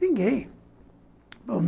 Ninguém.